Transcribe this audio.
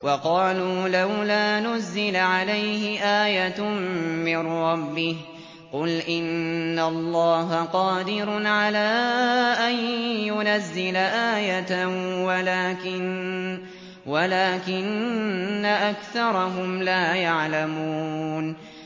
وَقَالُوا لَوْلَا نُزِّلَ عَلَيْهِ آيَةٌ مِّن رَّبِّهِ ۚ قُلْ إِنَّ اللَّهَ قَادِرٌ عَلَىٰ أَن يُنَزِّلَ آيَةً وَلَٰكِنَّ أَكْثَرَهُمْ لَا يَعْلَمُونَ